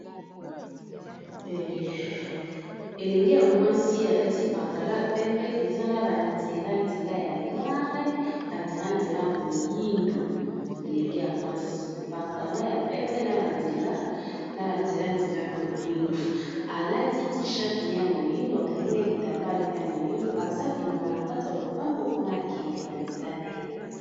Elenge ya mwasi alati pantalon ya pembe eza na banzela nzela ya noreeaoyelengeya mwasi pantalon ya pembe aaana banzela nzelay moyindo alati ti chate ne ya moyindo akangi na kitamba ne ya moyindo eza bima na kat a lopango mpona kende banzela na ye